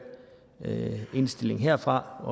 indstillingen herfra og